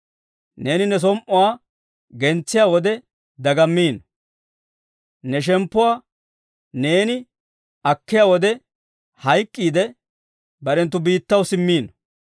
Neeni ne som"uwaa gentsiyaa wode dagammiino. Ne shemppuwaa neeni akkiyaa wode hayk'k'iide, barenttu biittaw simmiino.